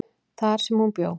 þar sem hún bjó.